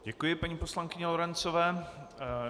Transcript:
Děkuji paní poslankyni Lorencové.